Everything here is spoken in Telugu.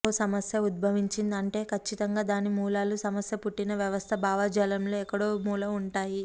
ఓ సమస్య ఉద్భవించింది అంటే కచ్చితంగా దాని మూలాలు సమస్య పుట్టిన వ్యవస్థ భావజాలాలలో ఎక్కడో ఓ మూల ఉంటాయి